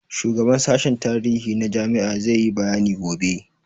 Shugaban sashen tarihi na jami'a za yi bayani gobe.